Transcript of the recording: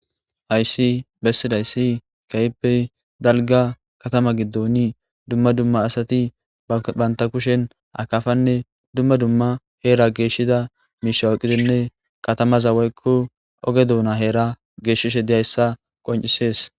Hays besidays keehippe dalga katama gidon dumma dumma asati banta kushen akafanne dumma dumma Hera geshiza misha oykidinne katamaza woyko oge duuna Hera geshishe dizaysa qoncises.